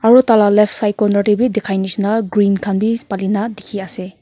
aru taila left side corner tey bhi dikhai nishina green khan bi palina dikhi ase.